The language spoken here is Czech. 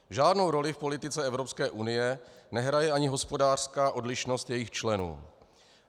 Žádnou roli v politice Evropské unie nehraje ani hospodářská odlišnost jejích členů.